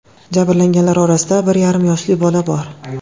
Jabrlanganlar orasida bir yarim yoshli bola bor.